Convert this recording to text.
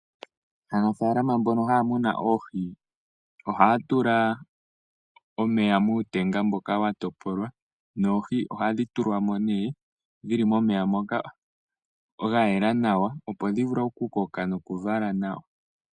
Aanafaalama mbono haya munu oohi ,ohaya tula omeya muutenga mboka wa topolwa noohi ohadhi tulwamo , dhili momeya moka mwayela nawa opo dhivule okukoka nokuvala nawa.